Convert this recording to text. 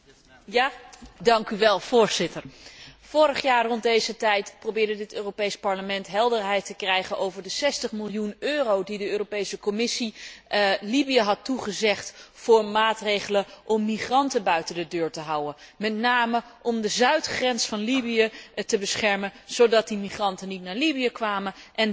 Voorzitter, vorig jaar rond deze tijd probeerde het Europees Parlement helderheid te krijgen over de 60 miljoen euro die de Commissie Libië had toegezegd voor maatregelen om migranten buiten de deur te houden, met name om de zuidgrens van Libië te beschermen zodat de migranten niet naar Libië kwamen, en dan ook niet naar Europa.